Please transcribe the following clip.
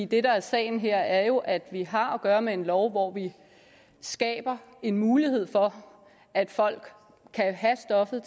det der er sagen her er jo at vi har at gøre med en lov hvor vi skaber en mulighed for at folk kan have stoffet